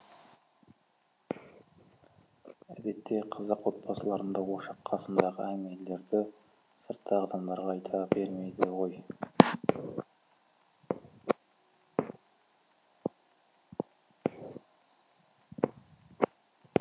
әдетте қазақ отбасыларында ошақ қасындағы әңгімелерді сырттағы адамдарға айта бермейді ғой